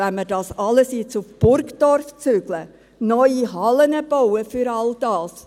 Wollen wir das alles jetzt nach Burgdorf zügeln, neue Hallen bauen, für all das?